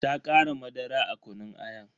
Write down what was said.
Ta kara madara a kunun ayan.